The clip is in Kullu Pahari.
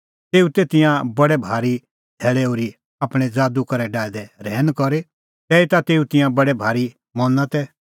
तेऊ तै तिंयां बडै भारी धैल़ै ओर्ही आपणैं ज़ादू करै डाहै दै रहैन करी तैहीता तेऊ तिंयां बडै भारी मना तै